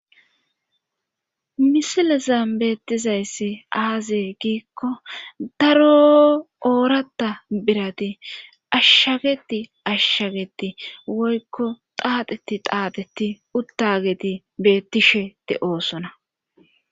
misilezan beettizayssi aazee giikko daro ooratta birati ashshageti ashshageti woykko xaateti xaateti uttageti beettishete de'oosona